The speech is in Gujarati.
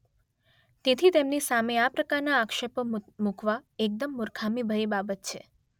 તેથી તેમની સામે આ પ્રકારના આક્ષેપો મૂકવા એકદમ મૂર્ખામીભરી બાબત છે.